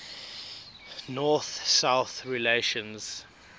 north south relations